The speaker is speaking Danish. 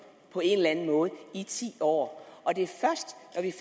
i ti år og det først